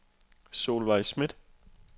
Solveig Schmidt